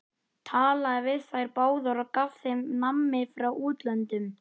Talaði við þær báðar og gaf þeim nammi frá útlöndum!